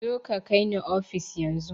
Zoka ka kai ni ofis yan zun